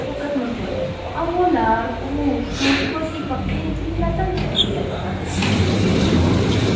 Shavkat Mirziyoyev: Afg‘onlar urush, muhtojlik va qiyinchiliklardan charchagan odamlar .